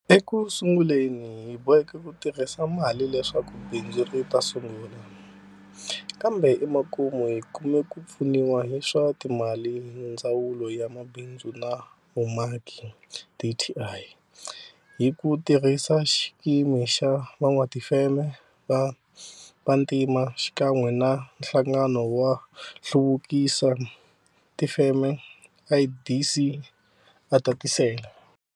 Eku sunguleni hi boheke ku tirhisa mali leswaku bindzu ri ta sungula, kambe emakumu hi kume ku pfuniwa hi swa timali hi ndzawulo ya mabindzu na vumaki, dti, hi ku tirhisa xikimu xa van'watifeme va vantima xikan'we na Nhlangano wo hluvukisa tifeme, IDC, a tatisela.